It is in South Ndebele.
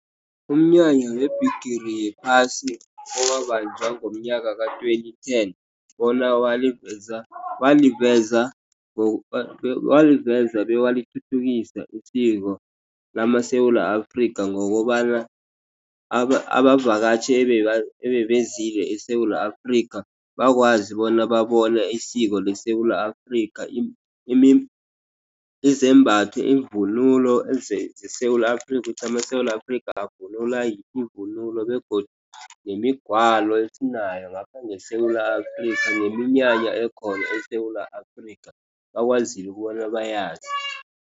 Umnyanya webhigiri yephasi owabanjwa ngomnyaka ka-twenty ten, bona waliveza bewalithuthukisa isiko, lamaSewula Afrika, ngokobana abavakatjhi ebebezile eSewula Afrika bakwazi bona babona isiko leSewula Afrika. Izembatho, ivunulo zeSewula Afrika, ukuthi amaSewula Afrika avunula yiphi ivunulo, begodu nemigwalo esinayo ngapha ngeSewula Afrikha, neminyanya ekhona eSewula Afrika bakwazile ukobana bayazi.